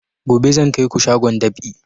Gobe zan kai ku shagon dab'i